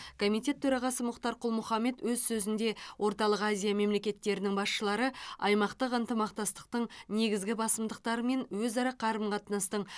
комитет төрағасы мұхтар құл мұхаммед өз сөзінде орталық азия мемлекеттерінің басшылары аймақтық ынтымақтастықтың негізгі басымдықтары мен өзара қарым қатынастың